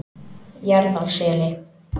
Jaðarseli